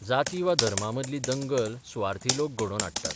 जाती वा धर्मा मदली दंगल सुवार्थी लोक घडोवन हाडटात.